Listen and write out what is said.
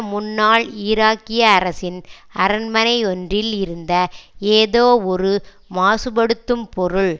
முன்னாள் ஈராக்கிய அரசின் அரண்மனையொன்றில் இருந்த ஏதோ ஒரு மாசுபடுத்தும் பொருள்